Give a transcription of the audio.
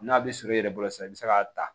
N'a bɛ surun i yɛrɛ bolo sisan i bɛ se k'a ta